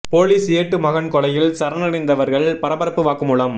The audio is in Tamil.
போலீஸ் ஏட்டு மகன் கொலையில் சரணடைந்தவர்கள் பரபரப்பு வாக்குமூலம்